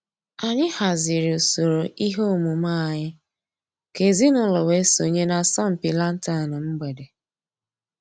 Ànyị̀ hàzìrì ǔsòrò ìhè òmùmè ànyị̀ kà èzìnùlọ̀ wée sọǹyé n'àsọ̀mpị lantern mgbèdè.